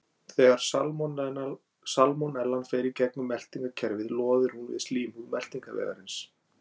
Þegar salmonellan fer í gegnum meltingarkerfið loðir hún við slímhúð meltingarvegarins.